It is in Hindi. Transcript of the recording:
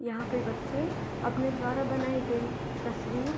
यहाँ पे बच्चे अपने द्वारा बनाई गई तस्वीर --